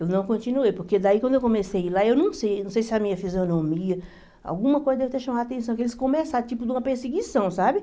Eu não continuei, porque daí quando eu comecei a ir lá, eu não sei, não sei se a minha fisionomia, alguma coisa deve ter chamado a atenção, que eles começaram, tipo de uma perseguição, sabe?